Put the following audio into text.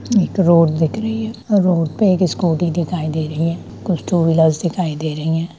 एक रोड दिख रही है और रोड पे एक स्कूटी दिखाई दे रही है कुछ ट्यू लाइट्स दिखाई दे रही है।